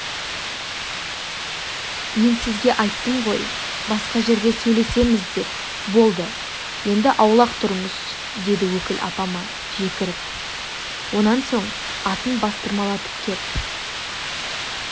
мен сізге айттым ғой басқа жерде сөйлесеміз деп болды енді аулақ тұрыңыз деді өкіл апама жекіріп онан соң атын бастырмалатып кеп